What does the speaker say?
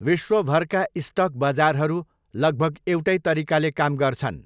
विश्वभरका स्टक बजारहरू लगभग एउटै तरिकाले काम गर्छन्।